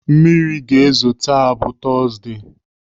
Mmiri ga-ezo taa bụ tọzdee.